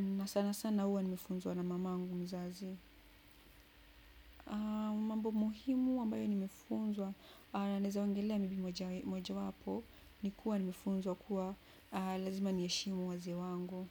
na sana sana huwa nimefunzwa na mamangu mzazi. Mambo muhimu ambayo nimefunzwa, naweza ongelea mipimo cha mojawapo, ni kuwa nimefunzwa kuwa lazima niheshimu wazee wangu.